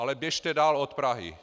Ale běžte dál od Prahy.